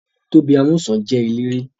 Tóbi Amúsàn jẹ́ eléré